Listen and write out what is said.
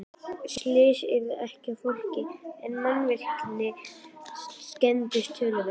Slys urðu ekki á fólki en mannvirki skemmdust töluvert.